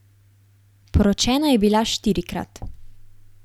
Poročena je bila štirikrat.